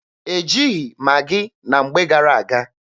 E jighị Maghị na mgbe gara-aga.